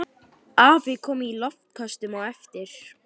Afi kom í loftköstum á eftir.